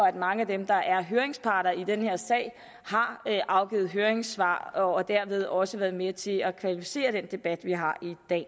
at mange af dem der er høringspart i den her sag har afgivet høringssvar og dermed også været med til at kvalificere den debat vi har